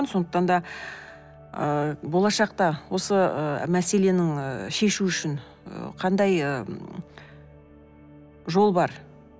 сондықтан да ыыы болашақта осы і мәселенің і шешу үшін ы қандай ы жол бар